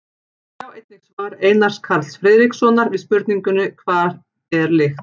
Sjá einnig svar Einars Karls Friðrikssonar við spurningunni Hvað er lykt?